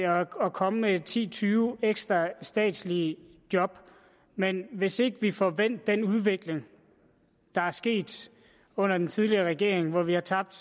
og komme med ti til tyve ekstra statslige job men hvis ikke vi får vendt den udvikling der er sket under den tidligere regering hvor vi har tabt